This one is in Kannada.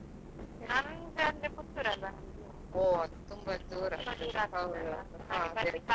ನಮ್ದ್ ಅಂದ್ರೆ Puttur ಅಲ್ವಾ.